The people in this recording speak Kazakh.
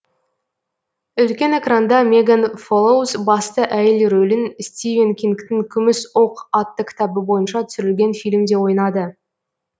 үлкен экранда меган фолоуз басты әйел рөлін стивен кингтың күміс оқ атты кітабы бойынша түсірілген фильмде ойнады